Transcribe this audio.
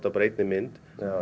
bara einni mynd